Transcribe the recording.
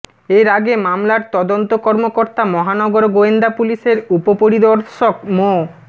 এর আগে মামলার তদন্ত কর্মকর্তা মহানগর গোয়েন্দা পুলিশের উপপরিদর্শক মো